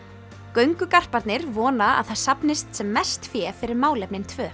göngugarparnir vona að það safnist sem mest fé fyrir málefnin tvö